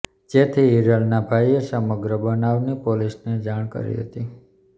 જેથી હિરલના ભાઈએ સમગ્ર બનાવની પોલીસને જાણ કરી હતી